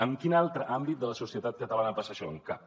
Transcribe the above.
en quin altre àmbit de la societat catalana passa això en cap